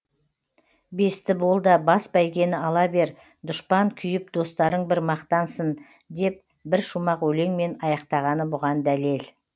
бесті бол да бас бәйгені ала бер дұшпан күйіп достарың бір мақтансын деп бір шумақ өлеңмен аяқтағаны бұған дәлел